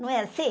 Não é assim?